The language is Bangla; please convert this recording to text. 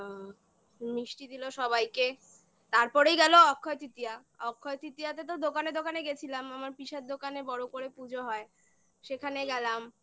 মিষ্টি দিলো সবাইকে তারপরেই গেলো অক্ষয় তৃতীয়া অক্ষয় তৃতীয়াতে তো দোকানে দোকানে গেছিলাম আমার পিসার দোকানে বড় করে পুজো হয় সেখানে গেলাম